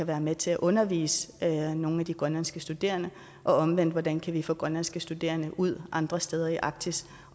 være med til at undervise nogle af de grønlandske studerende og omvendt hvordan kan vi få grønlandske studerende ud andre steder i arktis